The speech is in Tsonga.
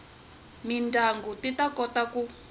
mindyangu ti ta kota ku